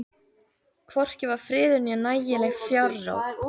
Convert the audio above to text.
Hvorki var friður né nægileg fjárráð.